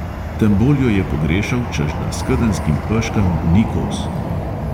Tem bolj jo je pogrešal, češ da skedenjskim peškam ni kos.